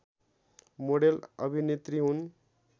model अभिनेत्री हुन्